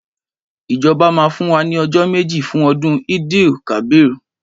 Ìjọbá mà fún wà ni ọjọ mẹji fún ọdún Eid-el-kabir.